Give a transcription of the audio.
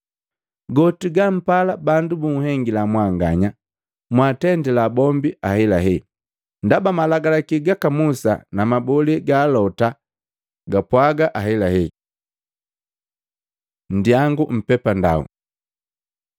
“Goti gampala bandu banhengila mwanganya, mwaatendila bombii ahelahela, ndaba Malagalaki gaka Musa na mabole ga Alota gapwaaga ahelahe. Nndyangu mpepandau Luka 13:24